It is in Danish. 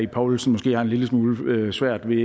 ib poulsen måske har en lille smule svært ved